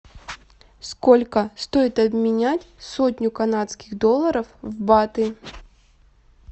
сколько стоит обменять сотню канадских долларов в баты